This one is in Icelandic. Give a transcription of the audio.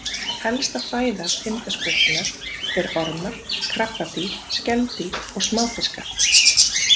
Helsta fæða tindaskötunnar er ormar, krabbadýr, skeldýr og smáfiskar.